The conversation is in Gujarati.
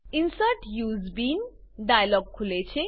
ઇન્સર્ટ યુએસઇ બીન ડાયલોગ ખુલે છે